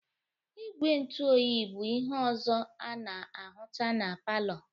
Igwe ntụ oyi bụ ihe ọzọ a na-ahụta na palọ.